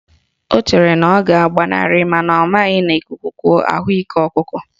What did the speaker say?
Ọ chere na ọ ga-agbanarị mana ọ maghị na ikuku kuo, ahụ ike ọkụkọ